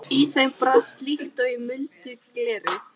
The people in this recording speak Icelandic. Í þeim brast líkt og í muldu gleri.